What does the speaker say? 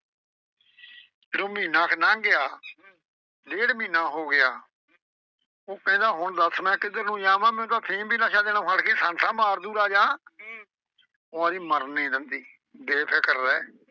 ਜਦੋਂ ਮਹੀਨਾ ਕੁ ਲੰਘ ਗਿਆ, ਡੇਢ ਮਹੀਨਾ ਹੋ ਗਿਆ ਉਹ ਕਹਿੰਦਾ ਹੁਣ ਦੱਸ ਮੈਂ ਕਿੱਧਰ ਨੂੰ ਜਾਵਾਂ, ਮੈਨੂੰ ਤਾਂ ਫੀਮ ਵੀ ਨਸ਼ਾ ਦੇਣੋ ਹੱਟ ਗਈ। ਸੰਸਾ ਮਾਰ ਦੇਊ ਰਾਜਾ ਉਹ ਆਂਹਦੀ ਮਰਨ ਨਈਂ ਦਿੰਦੀ ਬੇਫ਼ਿਕਰ ਰਹਿ।